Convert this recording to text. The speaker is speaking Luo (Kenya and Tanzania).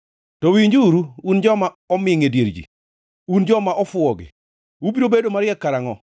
To winjuru, un joma omingʼ e dier ji; un joma ofuwogi, ubiro bedo mariek karangʼo?